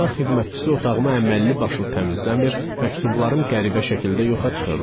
Otaq xidmətçisi otağımı əməlli başlı təmizləmir, məktublarım qəribə şəkildə yoxa çıxırdı.